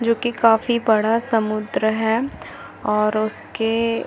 जो की काफी बड़ा समुन्द्र है और उसके --